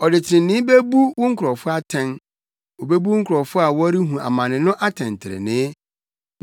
Ɔde trenee bebu wo nkurɔfo atɛn, obebu wo nkurɔfo a wɔrehu amane no atɛntrenee.